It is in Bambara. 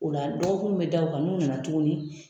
O la dɔgɔkun mun be da u kan , n'u nana tuguni